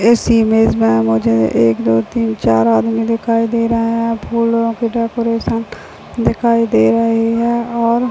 इस इमेज में मुझे एक दो तीन चार आदमी दिखाई दे रहे है फूलो की डेकोरेशन दिखाई दे रही है और--